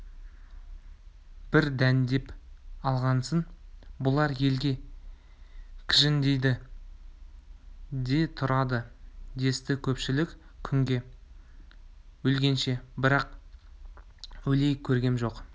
бір дәндеп алғансын бұлар елге кіжіңдейді де тұрады десті көпшілік күнде өлгенше бір-ақ өлейік көргем жоқ